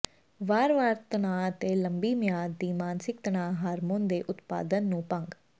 ਵਾਰ ਵਾਰ ਤਣਾਅ ਅਤੇ ਲੰਬੀ ਮਿਆਦ ਦੀ ਮਾਨਸਿਕ ਤਣਾਅ ਹਾਰਮੋਨ ਦੇ ਉਤਪਾਦਨ ਨੂੰ ਭੰਗ